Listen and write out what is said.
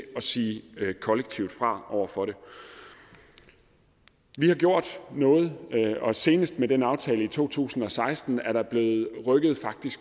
sige kollektivt fra over for det vi har gjort noget og senest med den aftale i to tusind og seksten er der faktisk blevet rykket